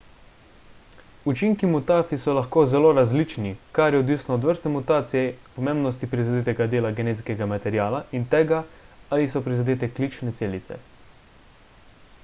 učinki mutacij so lahko zelo različni kar je odvisno od vrste mutacije pomembnosti prizadetega dela genetskega materiala in tega ali so prizadete klične celice